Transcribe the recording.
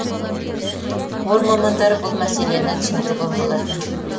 қор мамандары бұл мәселені түсіндірген болатын